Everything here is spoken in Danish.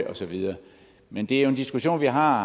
og så videre men det er jo en diskussion vi har